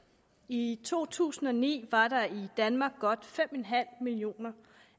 i to tusind og ni var der i danmark godt fem en halv millioner